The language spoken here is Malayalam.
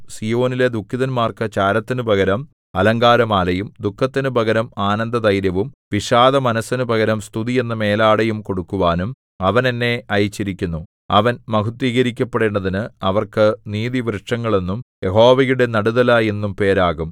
സീയോനിലെ ദുഃഖിതന്മാർക്കു ചാരത്തിനു പകരം അലങ്കാരമാലയും ദുഃഖത്തിനു പകരം ആനന്ദതൈലവും വിഷാദമനസ്സിനു പകരം സ്തുതി എന്ന മേലാടയും കൊടുക്കുവാനും അവൻ എന്നെ അയച്ചിരിക്കുന്നു അവൻ മഹത്ത്വീകരിക്കപ്പെടേണ്ടതിന് അവർക്ക് നീതിവൃക്ഷങ്ങൾ എന്നും യഹോവയുടെ നടുതല എന്നും പേരാകും